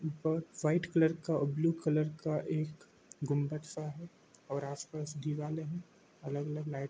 ऊपर white colour का और ब्लू कलर का एक गुम्बद-सा है और आसपास दीवाले है अलग - अलग लाइट--